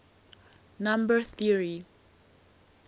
number theory